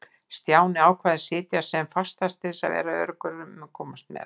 Stjáni ákvað að sitja sem fastast til þess að vera öruggur um að komast með.